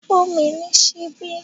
Fun mi ni sibi!